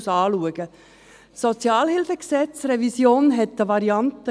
Die SHG-Revision hatte eine Variante.